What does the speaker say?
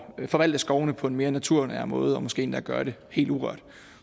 forvalte skovene på en mere naturnær måde og måske endda gøre det helt urørt